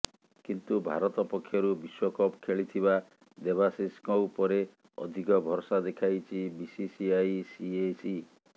କିନ୍ତୁ ଭାରତ ପକ୍ଷରୁ ବିଶ୍ୱକପ୍ ଖେଳିଥିବା ଦେବାଶିଷଙ୍କ ଉପରେ ଅଧିକ ଭରସା ଦେଖାଇଛି ବିସିସିଆଇ ସିଏସି